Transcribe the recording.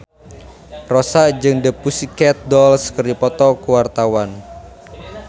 Rossa jeung The Pussycat Dolls keur dipoto ku wartawan